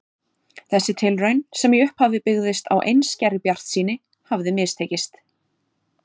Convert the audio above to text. Þessi tilraun, sem í upphafi byggðist á einskærri bjartsýni, hafði mistekist.